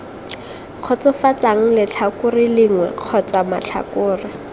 kgotsofatsang letlhakore lengwe kgotsa matlhakore